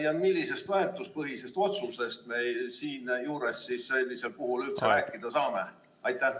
Ja millisest väärtuspõhisest otsusest me siinjuures sellisel puhul üldse rääkida saame?